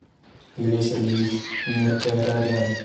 илья сергеевич неркарарян